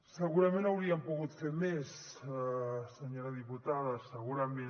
segurament hauríem pogut fer més senyora diputada segurament